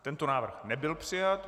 Tento návrh nebyl přijat.